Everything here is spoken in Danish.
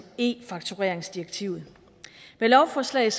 e faktureringsdirektivet med lovforslaget